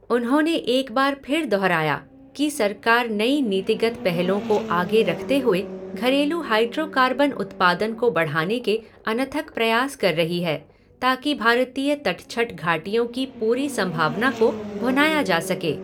उन्होंने एक बार फिर दोहराया कि सरकार नई नीतिगत पहलों को आगे रखते हुए घरेलू हाइड्रोकार्बन उत्पादन को बढ़ाने के अनथक प्रयास कर रही है ताकि भारतीय तटछट घाटियों की पूरी संभावना को भुनाया जा सके।